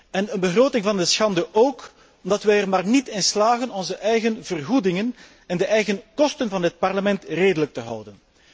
Een begroting van de schande ook, omdat wij er maar niet in slagen onze eigen vergoedingen en de eigen kosten van dit Parlement redelijk te houden.